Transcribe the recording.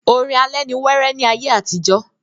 orin alẹ́ ni wéré ní ayé àtijọ́.